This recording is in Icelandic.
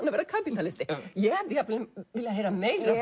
að verða kapítalisti ég hefði viljað heyra meira